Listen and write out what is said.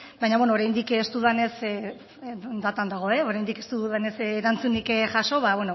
baina beno oraindik ez dudanez datan dago oraindik ez dugunez erantzunik jaso ba